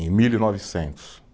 Em mil e novecentos.